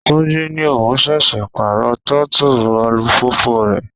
Túnjí ní òun ṣẹ̀ṣẹ̀ pàrọ throttle alùpùpù rẹ̀.